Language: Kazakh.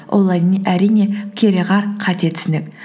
олай әрине кереғар қате түсінік